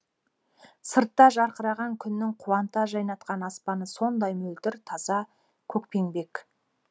сыртта жарқыраған күннің қуанта жайнатқан аспаны сондай мөлдір таза көкпеңбек